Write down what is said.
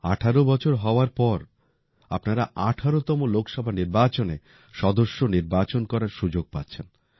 ১৮ বছর হওয়ার পর আপনারা ১৮তম লোকসভা নির্বাচনে সদস্য নির্বাচন করার সুযোগ পাচ্ছেন